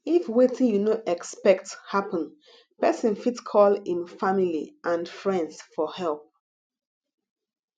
if wetin you no expect happen person fit call im family and friends for help